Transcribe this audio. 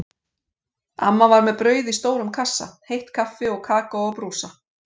Amma var með brauð í stórum kassa, heitt kaffi og kakó á brúsa.